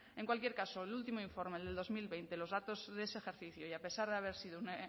en cualquier caso el último informe el del dos mil veinte los datos de ese ejercicio y a pesar de haber sido un